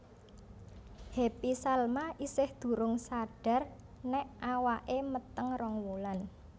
Happy Salma isih durung sadar nek awake meteng rong wulan